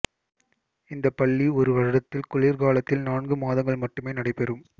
இந்தப் பள்ளி ஒரு வருடத்தில் குளிர்காலத்தில் நான்கு மாதங்கள் மட்டுமே நடைபெறும்